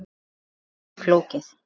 Þetta er mjög flókið.